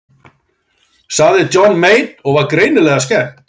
Sagði Johnny Mate og var greinilega skemmt.